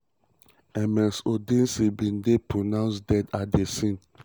ms odunsi bin dey pronounced dead at di scene. di scene.